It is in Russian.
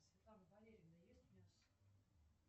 светлана валерьевна ест мясо